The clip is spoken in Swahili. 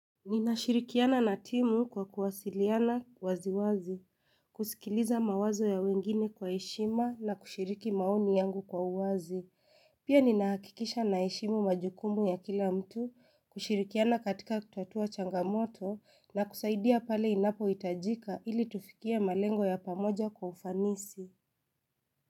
Ninashirikiana na timu kwa kuwasiliana waziwazi, kusikiliza mawazo ya wengine kwa heshima na kushiriki maoni yangu kwa uwazi. Pia ninaakikisha na heshimu majukumu ya kila mtu, kushirikiana katika kutatua changamoto na kusaidia pale inapo itajika ili tufikie malengo ya pamoja kwa ufanisi.